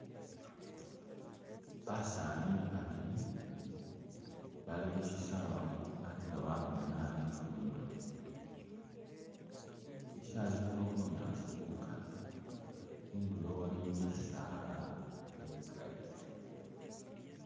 Basaani babili bali khu syisawe bali nga ba ukhwinyaa lifundo. Syisawe syilikho bunyaasi bukali, khundulo waliwo bisaala bikali.